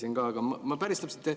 Ma juba enne ka küsisin.